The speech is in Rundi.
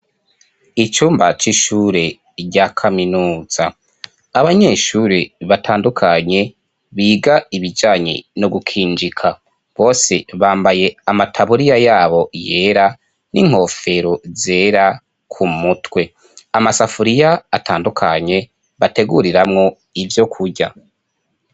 Icumbac' ishure rya kaminuza abanyeshuri batandukanye biga ibijanyi no gukinjika bose bambaye amataburiya yabo yera n'inkofero zera ku mutwe amasafuriya atandukanye bateguriramwo ivyo kurya.